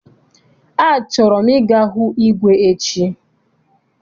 A chọrọ m I ga hụ igwe echi.